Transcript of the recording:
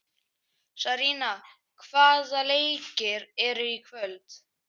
Sarína, hvaða leikir eru í kvöld?